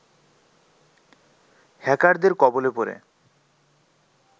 হ্যাকারদের কবলে পড়ে